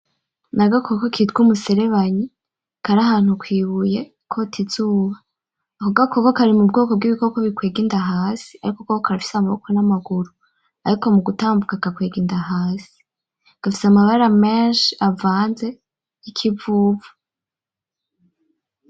N,agakoko kitwa umuserebanyi kari ahantu kwibuye kota izuba ako gakoko kari mubwoko bwibikoko bikwega inda hasi ariko ko karafise amaboko n,amaguru ariko mugutambuka gakwega inda hasi gafise amabara menshi avanze yikivuvu .